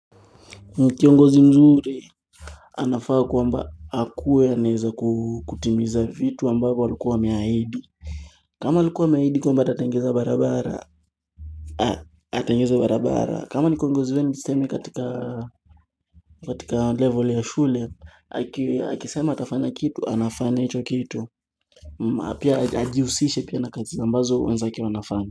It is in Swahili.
Kiongozi mzuri anafaa kwamba hakuwe aneza kukutimiza vitu ambavo alikuwa ameahidi kama alikuwa ameahidi kwamba atatengeza barabara Atengeza barabara kama nikuongozi wenu tuseme katika level ya shule Akisema atafanya kitu, anafanya hicho kitu na pia hajiusishi pia na kazi ambazo wenzake wanafanya.